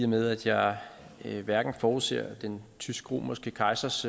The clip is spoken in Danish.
med at jeg hverken forudser den tysk romerske kejsers